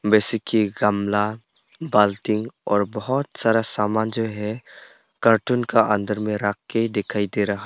वैसे की गमला बाल्टी और बहोत सारा सामान जो है कार्टून का अंदर में राख के दिखाई दे रहा--